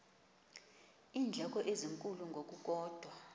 iindleko ezinkulu ngokukodwa